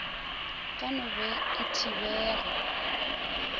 ka no be e thibega